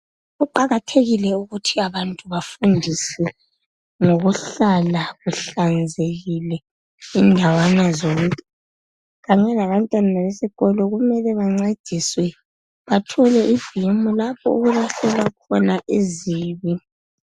Kuqakathekile ukuthi abantu bafundiswe ngokuhlala kuhlanzekile indawana zonke kanye labantwana bessikolo kumele bancediswe bathole ibhimu lapho okulahlelwa khona izibi.